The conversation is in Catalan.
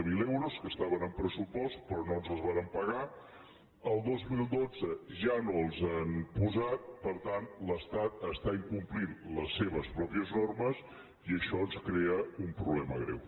zero euros que estaven en pressupost però no ens els van pagar el dos mil dotze ja no els han posat per tant l’estat està incomplint les seves pròpies normes i això ens crea un problema greu